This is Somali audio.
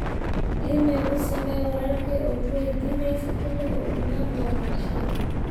iimayl u samee walaalkay oo ku waydiinaysid xiliga uu u iman doono cashada